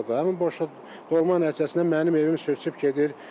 Həmin boşluq dolma nəticəsində mənim evim sürüşüb gedir.